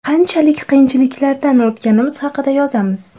Qanchalik qiyinchiliklardan o‘tganimiz haqida yozamiz.